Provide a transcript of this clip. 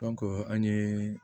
an ye